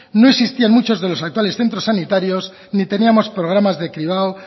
no existían muchos de los actuales centros sanitarios ni teníamos programas de cribado